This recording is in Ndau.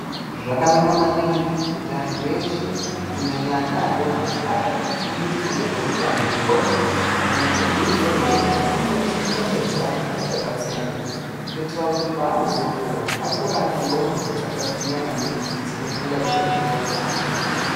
Zvakanaka maningi kuti anhi eshe kunyanya ana adoko vatange kufundiswa ngezveutano hwendxondo nekubhuirwa zviro zvinothxothxorese dzxondo dzavo achakatsonga kuitira kuti paanozukura akure aine ndxondo dzakagwinya maningi dzinofunga zvine udzamu .